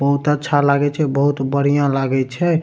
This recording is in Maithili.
बहुत अच्छा लागे छे बहुत बढ़िया लागी छे।